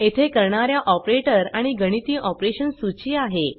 येथे करणाऱ्या ऑपरेटर आणि गणिती ऑपरेशन सूची आहे